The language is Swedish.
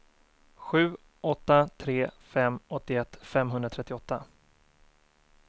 sju åtta tre fem åttioett femhundratrettioåtta